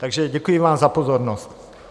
Takže děkuji vám za pozornost.